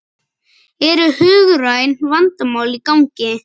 Eru hugræn vandamál í gangi?